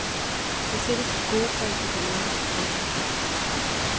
Det sætter sit gode præg på druerne. punktum